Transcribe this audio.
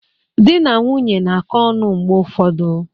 Di na nwunye na-akọ ọnụ mgbe ụfọdụ.